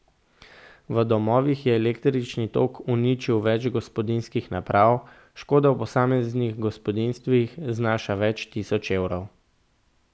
V domovih je električni tok uničil več gospodinjskih naprav, škoda v posameznih gospodinjstvih znaša več tisoč evrov.